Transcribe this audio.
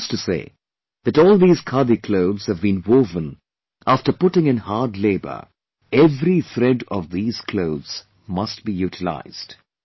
He used to say that all these Khadi clothes have been woven after putting in a hard labour, every thread of these clothes must be utilized